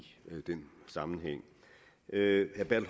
den sammenhæng herre